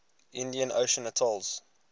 indian ocean atolls